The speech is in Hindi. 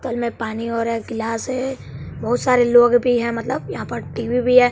तल में पानी और गिलास है बहुत सारे लोग भी हैं मतलब यहां पर टी_वी भी है।